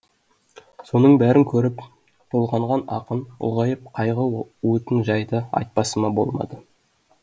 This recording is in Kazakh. соның бәрін көріп толғанған ақын ұлғайып қайғы уытын жайды айтпасыма болмады